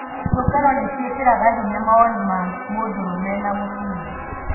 Ciũngano nĩ ciĩkĩraga hinya mawoni ma mũndũrũme na mũtumia.